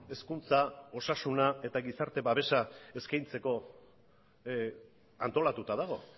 hezkuntza osasuna eta gizarte babesa eskaintzeko antolatuta dago